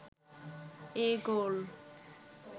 এই গোল